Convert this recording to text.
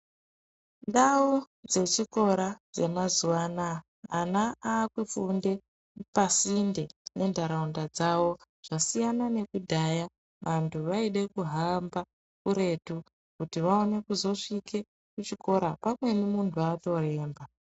Ndau dzechikora dzemazuwa anaa, ana aakufunde pasinde nentharaunda dzavo. Zvasiyana nekudhaya vanthu vaide kuhamba kuretu, kuti vaone kuzosvike kuchikora, pamweni munthu atoremba.